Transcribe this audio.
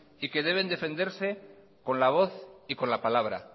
y que deben defenderse con la voz y con la palabra